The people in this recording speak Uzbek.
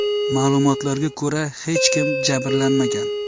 Ma’lumotlarga ko‘ra, hech kim jabrlanmagan.